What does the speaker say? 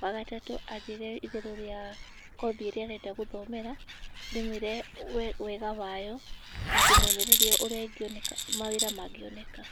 wa gatatũ anjĩre igũrũ rĩa kothi ĩrĩa arenda gũthomera ndĩmwĩre wega wayo na ndĩmwonererie ũrĩa mawĩra mangĩoneka.